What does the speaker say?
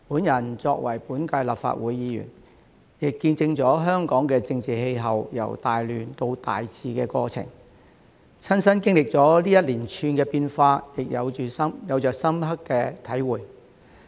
我作為本屆立法會議員，亦見證了香港的政治氣候由大亂到大治的過程，親身經歷這一連串的變化，有着深刻的體會。